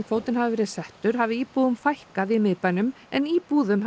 kvótinn hafi verið settur hafi íbúum fækkað í miðbænum en íbúðum